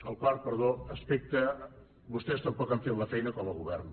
el quart aspecte vostès tampoc han fet la feina com a govern